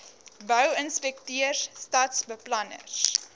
bou inspekteurs stadsbeplanners